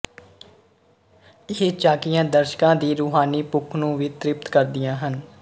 ਇਹ ਝਾਕੀਆਂ ਦਰਸ਼ਕਾਂ ਦੀ ਰੂਹਾਨੀ ਭੁੱਖ ਨੂੰ ਵੀ ਤ੍ਰਿਪਤ ਕਰਦੀਆਂ ਹਨ